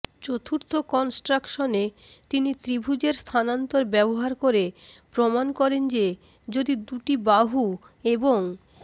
চতুর্থ কনস্ট্রাকশনে তিনি ত্রিভুজের স্থানান্তর ব্যবহার করে প্রমাণ করেন যে যদি দুটি বাহু এবং